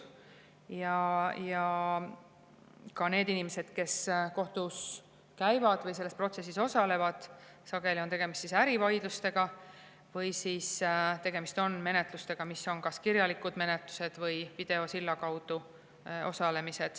Ja ka nende inimeste puhul, kes kohtus käivad või selles protsessis osalevad, on sageli tegemist ärivaidlustega või menetlustega, mis on kas kirjalikud või videosilla kaudu.